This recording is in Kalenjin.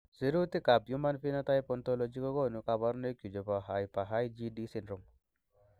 Sirutikab Human Phenotype Ontology kokonu koborunoikchu chebo Hyper IgD syndrome.